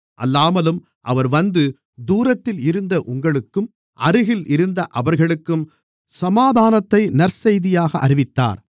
அல்லாமலும் அவர் வந்து தூரத்தில் இருந்த உங்களுக்கும் அருகில் இருந்த அவர்களுக்கும் சமாதானத்தை நற்செய்தியாக அறிவித்தார்